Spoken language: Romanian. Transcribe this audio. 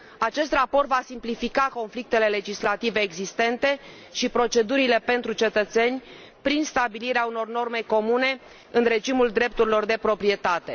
Acest raport va simplifica conflictele legislative existente și procedurile pentru cetățeni, prin stabilirea unor norme comune în regimul drepturilor de proprietate.